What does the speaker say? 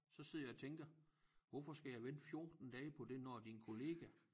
Så sidder jeg og tænker hvorfor skal jeg vente 14 dage på det når din kollega